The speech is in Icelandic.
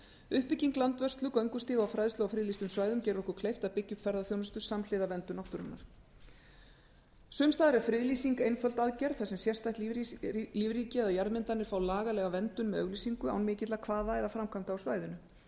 uppbygging landvörslu göngustíga og fræðslu á friðlýstum svæðum gerir okkur kleift að byggja upp ferðaþjónustu samhliða verndun náttúrunnar sums staðar er friðlýsing einföld aðgerð þar sem sérstætt lífríki eða jarðmyndanir fá lagalega verndun með auglýsingu án mikilla kvaða eða framkvæmda á svæðinu